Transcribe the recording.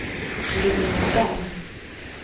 Linnea Berg